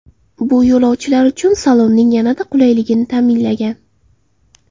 Bu yo‘lovchilar uchun salonning yanada qulayligini ta’minlagan.